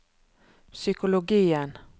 psykologien